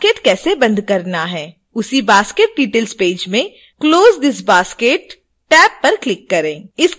उसी basket details page में close this basket tab पर क्लिक करें